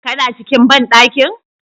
Kana cikin bandankin?